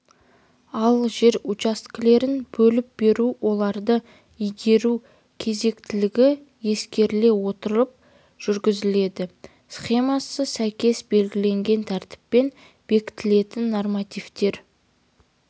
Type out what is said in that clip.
ал жер учаскелерін бөліп беру оларды игеру кезектілігі ескеріле отырып жүргізіледі схемасына сәйкес белгіленген тәртіппен бекітілетін нормативтер